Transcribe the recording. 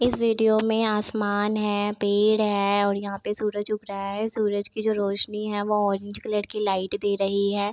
इस वीडियो में आसमान है पेड़ है और यहाँ पे सूरज उग रहा है सूरज की जो रोशनी है वो ऑरेंज कलर की लाइट दे रही है।